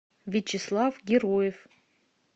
вячеслав героев